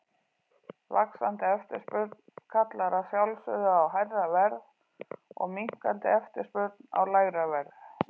Vaxandi eftirspurn kallar að sjálfsögðu á hærra verð og minnkandi eftirspurn á lægra verð.